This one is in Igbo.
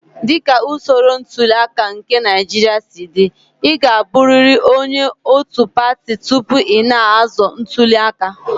Dị ka usoro ntuli aka nke Naijiria si dị, ị ga-abụrịrị onye òtù pati tupu ị na-azọ ntuli aka.